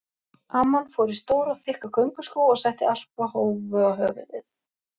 Amman fór í stóra og þykka gönguskó og setti alpahúfu á höfuðið.